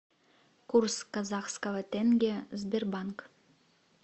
курс казахского тенге сбербанк